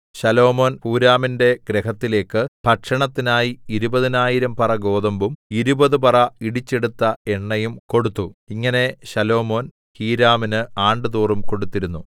ശലോമോൻ ഹൂരാമിന്റെ ഗൃഹത്തിലേക്ക് ഭക്ഷണത്തിനായി ഇരുപതിനായിരം പറ ഗോതമ്പും ഇരുപത് പറ ഇടിച്ചെടുത്ത എണ്ണയും കൊടുത്തു ഇങ്ങനെ ശലോമോൻ ഹീരാമിന് ആണ്ടുതോറും കൊടുത്തിരുന്നു